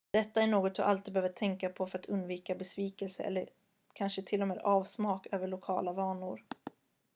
detta är något du alltid behöver tänka på för att undvika besvikelse eller kanske till och med avsmak över lokala vanor